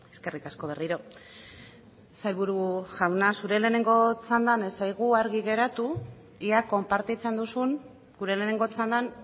eskerrik asko berriro sailburu jauna zure lehenengo txandan ez zaigu argi geratu ea konpartitzen duzun gure lehenengo txandan